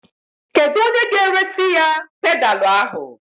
Kedụ onye ga-eresi ya pedalu ahụ?